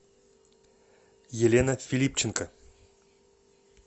елена филипченко